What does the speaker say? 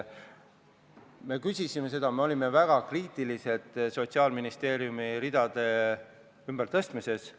Me küsisime seda, me olime väga kriitilised Sotsiaalministeeriumi ridade ümbertõstmise suhtes.